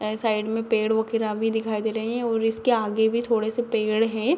है साइड मे पेड़ वगेरह भी दिखाई दे रहे हैं और इसके आगे भी थोडे से पेड़ हैं।